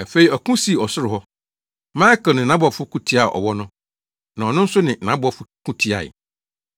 Afei ɔko sii ɔsoro hɔ. Mikael ne nʼabɔfo ko tiaa ɔwɔ no, na ɔno nso ne nʼabɔfo ko tiae.